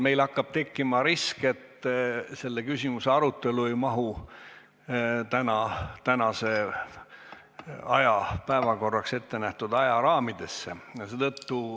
Meil hakkab tekkima risk, et selle küsimuse arutelu ei mahu tänaseks päevakorraks ette nähtud aja raamidesse.